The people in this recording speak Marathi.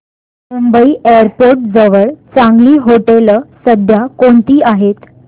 मुंबई एअरपोर्ट जवळ चांगली हॉटेलं सध्या कोणती आहेत